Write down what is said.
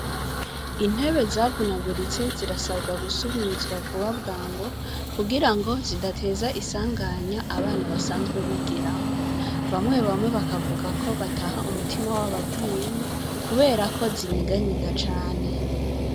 Intebe zavunaguritse zirasabwa gusubirizwa vuba bwango, kugirango zidateza isanganya abana basanzwe bazigiramwo. Bamwe bamwe bakavuga ko bataha umutima wabavuyemwo kubera zinyiganyiga cane.